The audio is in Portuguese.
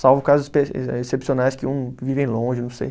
Salvo casos espe, eh excepcionais que um vivem longe, não sei.